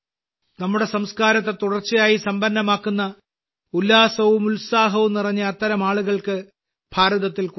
നമ്മുടെ സംസ്കാരത്തെ തുടർച്ചയായി സമ്പന്നമാക്കുന്ന ഉല്ലാസവും ഉത്സാഹവും നിറഞ്ഞ അത്തരം ആളുകൾക്ക് ഭാരതത്തിൽ കുറവില്ല